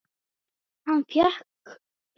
En hann fékkst við fleira.